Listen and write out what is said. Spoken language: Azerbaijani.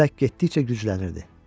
Külək getdikcə güclənirdi.